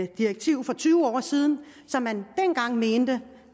direktiv for tyve år siden som man dengang mente